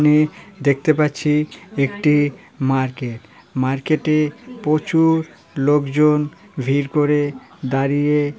এখানে দেখতে পাচ্ছি একটি মার্কেট মার্কেট -এ প্রচুর লোকজন ভিড় করে দাঁড়িয়ে--